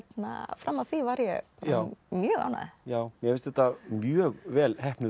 fram að því var ég mjög ánægð já mér finnst þetta mjög vel heppnuð